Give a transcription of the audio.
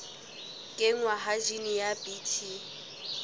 kenngwa ha jine ya bt